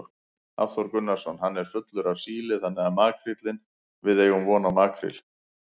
Hafþór Gunnarsson: Hann er fullur af síli þannig að makríllinn, við eigum von á makríl?